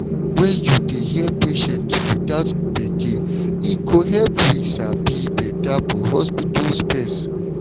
when you dey hear patients without gbege e go help we sabi better for hospital space.